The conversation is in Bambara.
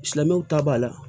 Silamɛw ta b'a la